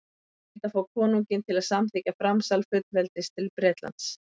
þeir reyndu að fá konunginn til að samþykkja framsal fullveldis til bretlands